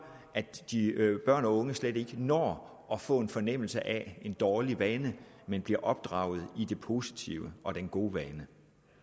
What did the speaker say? at børn og unge slet ikke når at få en fornemmelse af en dårlig vane men bliver opdraget i det positive og i den gode vane